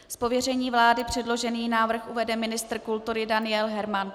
Z pověření vlády předložený návrh uvede ministr kultury Daniel Herman.